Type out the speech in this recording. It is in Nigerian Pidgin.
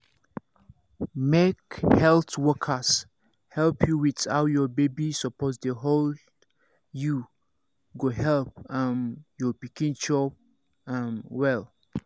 make health workers help you with how your baby suppose dey hold you go help um your pikin chop um well